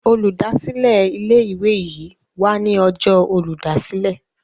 Olùdásílẹ̀ ilé ìwé yí wá ní Ọjọ́ Olùdásílẹ̀.